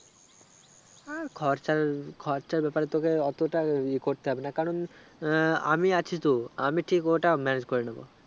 আ খরচাওই খরচা ব্যাপারে তোকে অতোটা ইযে করতে হবে না কারণ আমি আছি তো আমি ঠিক ওটা manage করে নেবো